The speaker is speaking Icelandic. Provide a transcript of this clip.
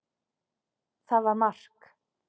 Það var mark.